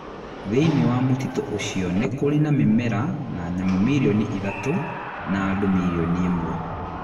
Thĩinĩ wa mũtitũ ũcio nĩ kũrĩ na mĩmera na nyamũ milioni ithatũ na andũ milioni ĩmwe.